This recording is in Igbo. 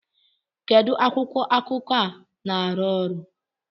Kedu akwụkwọ akụkọ ọ na-arụ ọrụ?